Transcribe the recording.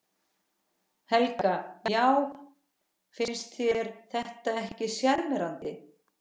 Helga: Já finnst þér þetta ekki sjarmerandi?